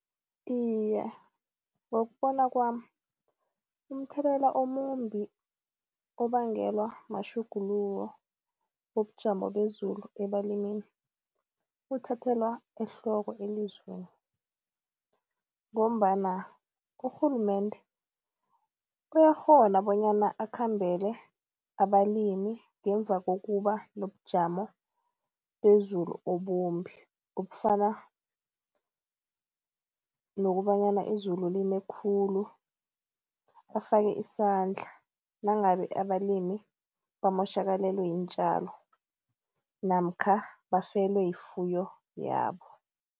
Iye, ngokubona kwami umthelela omumbi obangelwa matjhuguluko wobujamo bezulu ebalimini uthathelwa ehloko elizweni ngombana urhulumende uyakghona bonyana akhambele abalimi ngemva kokuba nobujamo bezulu obumbi obufana nokobanyana izulu line khulu. Afake isandla nangabe abalimi bamotjhakalelwe yiintjalo namkha bafelwe yifuyo yabo.